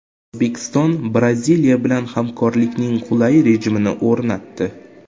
O‘zbekiston Braziliya bilan hamkorlikning qulay rejimini o‘rnatdi.